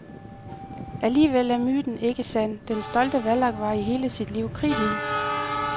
Alligevel er myten ikke sand, den stolte vallak var i hele sit liv kridhvid.